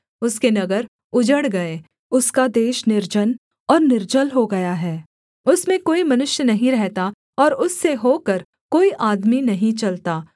उसके नगर उजड़ गए उसका देश निर्जन और निर्जल हो गया है उसमें कोई मनुष्य नहीं रहता और उससे होकर कोई आदमी नहीं चलता